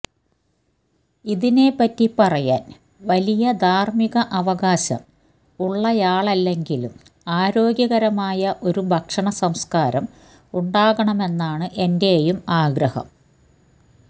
ഇതിനെപ്പറ്റി പറയാന് വലിയ ധാര്മിക അവകാശം ഉള്ളയാളല്ലെങ്കിലും ആരോഗ്യകരമായ ഒരു ഭക്ഷണ സംസ്കാരം ഉണ്ടാകണമെന്നാണ് എന്റെയും ആഗ്രഹം